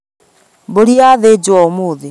Mbũri yathĩnjwo ũmũthĩ